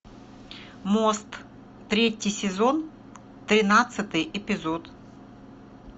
мост третий сезон тринадцатый эпизод